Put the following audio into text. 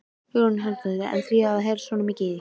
Hugrún Halldórsdóttir: En á að heyrast svona mikið í því?